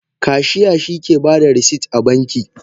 Kashiya shike bada rasit a banki.